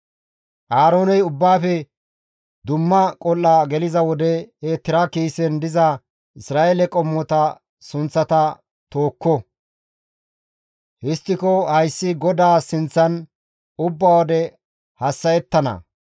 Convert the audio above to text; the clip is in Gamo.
«Aarooney ubbaafe dumma qol7aa geliza wode he tira kiisen diza Isra7eele qommota sunththata tookko. Histtiko hayssi GODAA sinththan ubba wode hassa7ettana.